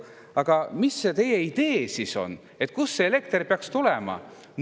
Aga mis see teie idee siis on, kust elekter peaks tulema?